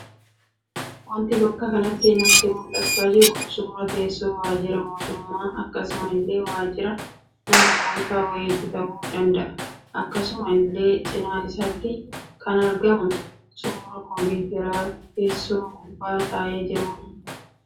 Waanti bakka kanatti natti mul'achaa jiru, suuraa teessoo waajira mootummaa akkasuma illee waajira nama dhuunfaa wayii ta'uu danda'a. Akkasuma illee cinaa isaatti kan argamu suuraa kompiitara teessoo gubbaa taa'ee jirudha.